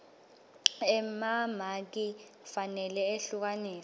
emamaki kufanele ehlukaniswe